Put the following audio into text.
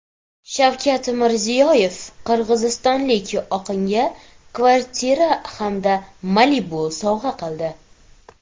Shavkat Mirziyoyev qirg‘izistonlik oqinga kvartira hamda Malibu sovg‘a qildi .